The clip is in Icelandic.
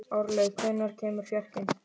Árlaug, hvenær kemur fjarkinn?